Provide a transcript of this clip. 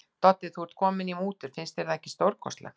Doddi, þú ert kominn í mútur, finnst þér það ekki stórkostlegt.